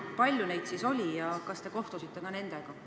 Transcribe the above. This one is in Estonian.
Palju neid oli ja kas te kohtusite nendega?